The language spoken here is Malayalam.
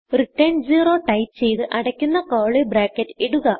റിട്ടർൻ 0 ടൈപ്പ് ചെയ്ത് അടയ്ക്കുന്ന curlyബ്രാക്കറ്റ് ഇടുക